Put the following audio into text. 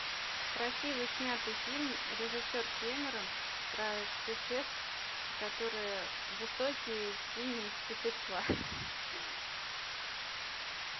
красиво снятый фильм режиссер кэмерон про существ которые высокие синие существа